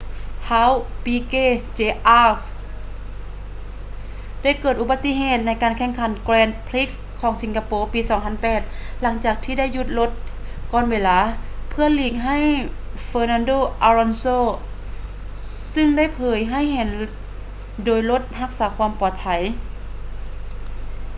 ທ້າວ ປີເກ ເຈອາຣ໌. piquet jr. ໄດ້ເກີດອຸປະຕິເຫດໃນການແຂ່ງຂັນ grand prix ຂອງສິງກະໂປ ປີ 2008 ຫຼັງຈາກທີ່ໄດ້ຢຸດລົດກ່ອນເວລາ ເພື່ອຫຼີກໃຫ້ ເຟີນັນໂດ ອາລອນໂຊ fernando alonso ຊຶ່ງໄດ້ເຜີຍໃຫ້ເຫັນໂດຍລົດຮັກສາຄວາມປອດໄພ